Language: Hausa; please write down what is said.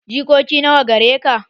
Jikoki nawa gare ka?